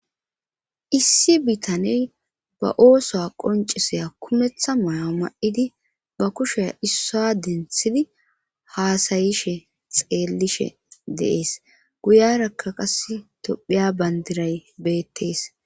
issi bitaney ba oosuwa qoncisaya kumetha maya ma'idi ba kushea issaa denthidi haasayishe xeellishe deees guyarakka qas tophiya bandiray beettees